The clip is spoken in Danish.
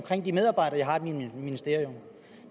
de medarbejdere jeg har i mit ministerium